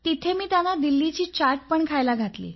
तिथे मी त्यांना दिल्लीची चाट पण खायला घातली